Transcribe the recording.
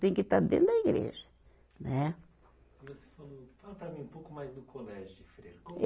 Tem que estar dentro da igreja, né? E você falou, fala para mim um pouco mais do colégio de Freira, como.